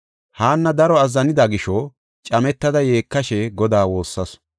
Haanna daro azzanida gisho cametada yeekashe Godaa woossasu.